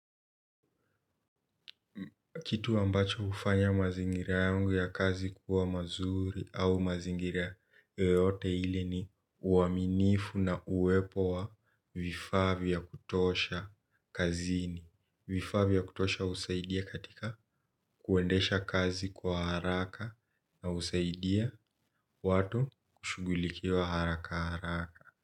Kitu ambacho hufanya mazingira yangu ya kazi kuwa mazuri au mazingira yoyote ile ni uaminifu na uwepo wa vifaa vya kutosha kazini. Vifaa vya kutosha husaidia katika kuendesha kazi kwa haraka na usaidia watu kushugulikiwa haraka haraka.